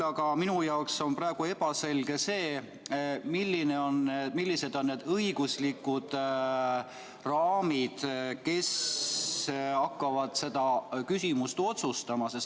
Aga minu jaoks on praegu ebaselge, millised on need õiguslikud raamid, et kes hakkavad seda küsimust otsustama.